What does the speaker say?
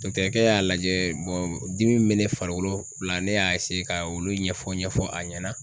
kɛ y'a lajɛ dimi min bɛ ne farikolo la ne y'a ka olu ɲɛfɔ ɲɛfɔ a ɲɛna.